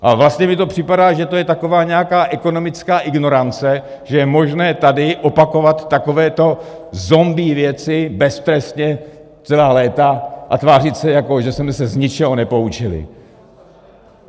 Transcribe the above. A vlastně mi to připadá, že to je taková nějaká ekonomická ignorance, že je možné tady opakovat takovéto zombie věci beztrestně celá léta a tvářit se, jako že jsme se z ničeho nepoučili.